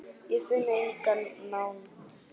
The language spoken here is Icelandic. Ég finn enga nánd.